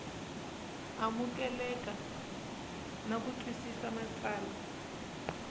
amukeleka na ku twisisa matsalwa